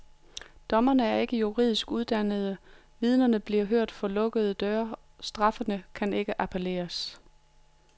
Dommerne er ikke juridisk uddannede, vidnerne bliver hørt for lukkede døre, og straffene kan ikke appelleres.